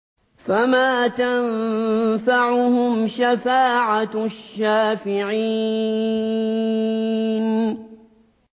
فَمَا تَنفَعُهُمْ شَفَاعَةُ الشَّافِعِينَ